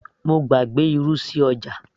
mo gbàgbé irú sí ọjà